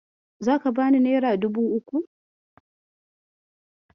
Zaka bani nera dubu uku?